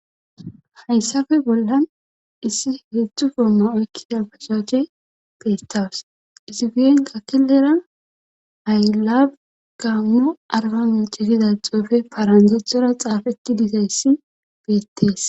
Hayssafe bollan issi heedzdzu goomma oykkida pachache beettawus izifi'en kakelera hayla gaanno arba micifida xoofe parandethora xaafeti dizayssi beettees.